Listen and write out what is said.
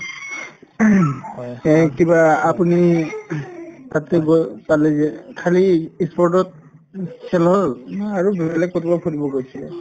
সেই কিবা আপুনি তাতে গৈ পালে যে খালী ই sport তত উম খেল হল উম আৰু বেলেগ কৰবাত ফুৰিব গৈছিলে